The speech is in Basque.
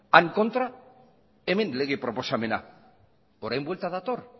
han kontra hemen lege proposamena orain buelta dator